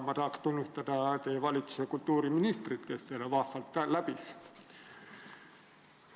Ma tahaks tunnustada teie valitsuse kultuuriministrit, kes selle vahvalt läbi tegi.